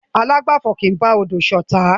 Alágbàfo kì í bá odò ṣotá.